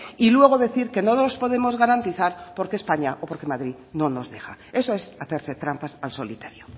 y luego decir que no los podemos garantizar porque españa o porque madrid no nos deja eso es hacerse trampas al solitario